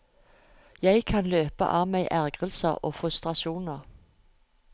Jeg kan løpe av meg ergrelser og frustrasjoner.